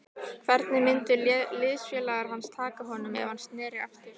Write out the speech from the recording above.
Hvernig myndu liðsfélagar hans taka honum ef hann sneri aftur?